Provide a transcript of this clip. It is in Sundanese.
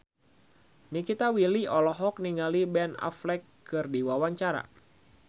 Nikita Willy olohok ningali Ben Affleck keur diwawancara